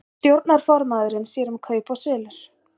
Stjórnarformaðurinn sér um kaup og sölur